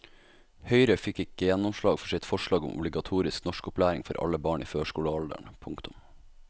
Høyre fikk ikke gjennomslag for sitt forslag om obligatorisk norskopplæring for alle barn i førskolealderen. punktum